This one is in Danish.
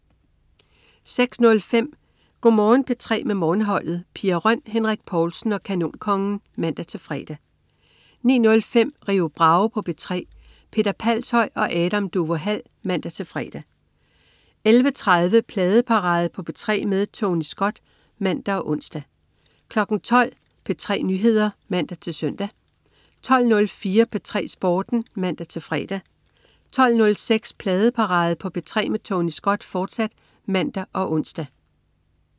06.05 Go' Morgen P3 med Morgenholdet. Pia Røn, Henrik Povlsen og Kanonkongen (man-fre) 09.05 Rio Bravo på P3. Peter Palshøj og Adam Duvå Hall (man-fre) 11.30 Pladeparade på P3 med Tony Scott (man og ons) 12.00 P3 Nyheder (man-søn) 12.04 P3 Sporten (man-fre) 12.06 Pladeparade på P3 med Tony Scott, fortsat (man og ons)